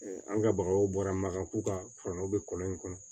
an ka bagaw bɔra makafo ka fara u be kɔlɔ in kɔnɔ